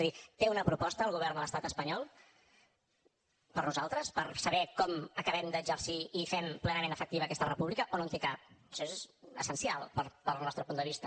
és a dir té una proposta el govern de l’estat espanyol per a nosaltres per saber com acabem d’exercir i fem plenament efectiva aquesta república o no en té cap això és essencial per al nostre punt de vista